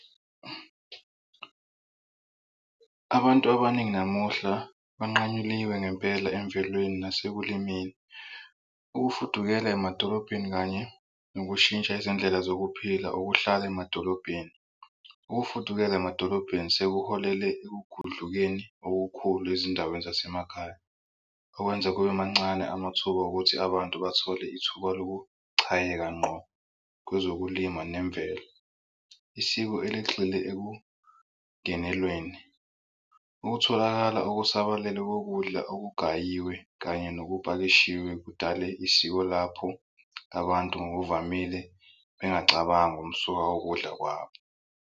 Abantu abaningi namuhla banqanyuliwe ngempela emvelweni nase ekulimeni. Ukufudukela emadolobheni kanye nokushintsha izindlela zokuphila ukuhlala emadolobheni. Ukufuduka emadolobheni sekuholele ekugudlukeni okukhulu ezindaweni zasemakhaya okwenza kube mancane amathuba okuthi abantu bathole ithuba lokuchayeka ngqo kwezokulima nemvelo. Isiko eligxile ekungenelweni ukutholakala okusabaleke kokudla okugayiwe kanye nokupakishiwe kudale isiko lapho abantu ngokuvamile bengacabangi umsuka wokudla kwabo.